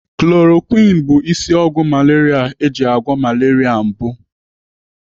Chloroquine bụ isi ọgwụ malaria eji agwọ malaria mbụ.